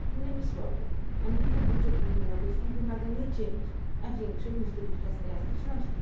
Innymi słowy, ambitny budżet Unii Europejskiej wymaga nie cięć, a większej niż dotychczas elastyczności.